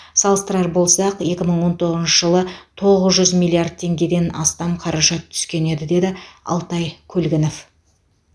салыстырар болсақ екі мың он тоғызыншы жылы тоғыз жүз миллиард теңгеден астам қаражат түскен еді деді алтай көлгінов